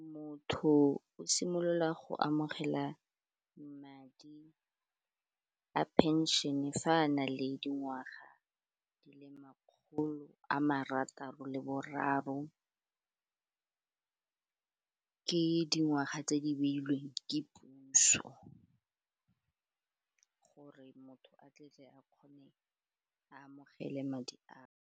Motho o simolola go amogela madi a pension-e fa a na le dingwaga di le makgolo a marataro le boraro, ke dingwaga tse di beilweng ke puso gore motho a tlabe a kgone a amogele madi ao.